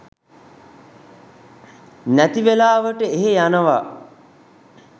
නැති වෙලාවට එහෙ යනවා